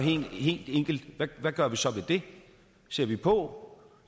helt enkelt hvad gør vi så ved det ser vi på